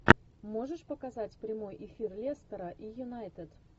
можешь показать прямой эфир лестера и юнайтед